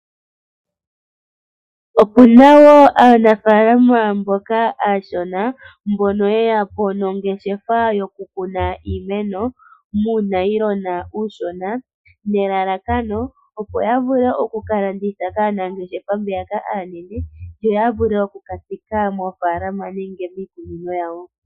Opuna aanafalama mboka aashona mbono yeya po nongeshefa yoku kuna iimeno muunayilona uushona nelala kano opo ya vule okuka landitha kaanangeshefa mbeyaka aanene yo ya vule oku katsika moofalama nenge miikunino yawo.